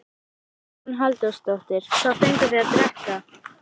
Hugrún Halldórsdóttir: Hvað fenguð þið að drekka?